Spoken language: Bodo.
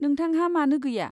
नोंथांहा मानो गैया?